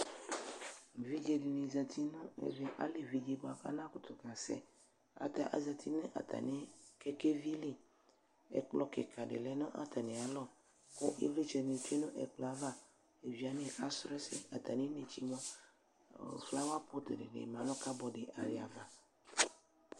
Evidze dini zati nʋ ɛvɛ, alevi di buakʋ anakʋtʋ kasɛ atɛ, azati nʋ atami kɛkɛvi li, ɛkplɔ kika lɛ nʋ atamialɔ kʋ ivlitsɛni tsue nʋ ɛkplɔ yɛ ava, evidzewani kaslɔ ɛsɛ, ataminetse mua, ɔɔ flower board dini ma nʋ cupboard yɛ ayava